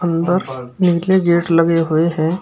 अंदर नील के गेट लगे हुए हैं।